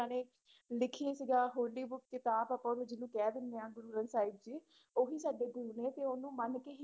ਨੇ ਲਿਖੀ ਸੀਗਾ ਹੋਲੀ book ਕਿਤਾਬ ਆਪਾਂ ਵੀ ਜਿਹਨੂੰ ਕਹਿ ਦਿੰਦੇ ਹਾਂ ਗੁਰੂ ਗ੍ਰੰਥ ਸਾਹਿਬ ਜੀ ਉਹੀ ਸਾਡੇ ਗੁਰੂ ਨੇ ਤੇ ਉਹਨੂੰ ਮੰਨ